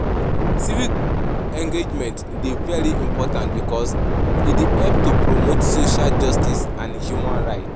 civic engagement dey very important because e dey help to promote social justice and human rights.